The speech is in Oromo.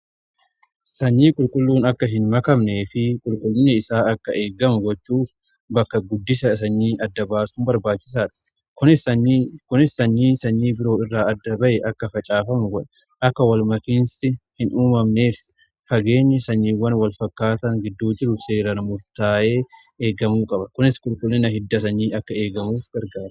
Sanyii qulqulluun akka hin makamne fi qulqullinni isaa akka eegamu gochuuf bakka guddisa sanyii adda baasuu barbaachisaadha. Kunis sanyii sanyii biroo irraa adda ba'e akka facaafamu akka walmakanii hin uumamneef fageenyi sanyiiwwan wal fakkaata gidduu jiru seeraan murtaa'ee eegamuu qaba. Kunis qulqullina hidda sanyii akka eegamuuf gargaara.